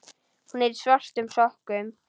Hún er í svörtum sokkum.